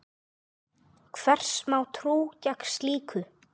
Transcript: Hvers má trú gegn slíku?